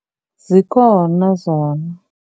Zikhona zona.